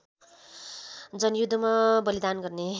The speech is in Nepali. जनयुद्धमा बलिदान गर्ने